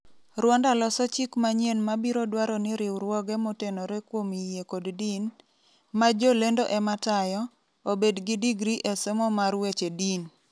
Rwanda loso chik manyien mabiro dwaro ni riwruoge motenore kuom yie kod din, ma jolendo ema tayo, obed gi digri e somo mar weche din.